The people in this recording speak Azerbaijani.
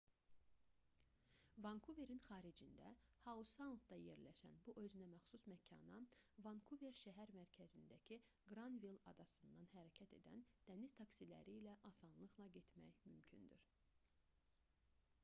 vankuverin xaricində hau-saundda yerləşən bu özünəməxsus məkana vankuver şəhər mərkəzindəki qranvill adasından hərəkət edən dəniz taksiləri ilə asanlıqla getmək mümkündür